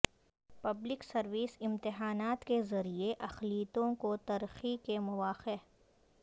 public service امتحانات کے ذریعہ اقلیتوں کو ترقی کے مواقع